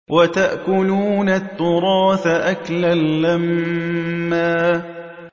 وَتَأْكُلُونَ التُّرَاثَ أَكْلًا لَّمًّا